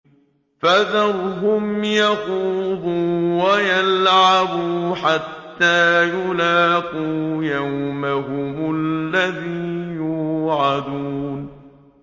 فَذَرْهُمْ يَخُوضُوا وَيَلْعَبُوا حَتَّىٰ يُلَاقُوا يَوْمَهُمُ الَّذِي يُوعَدُونَ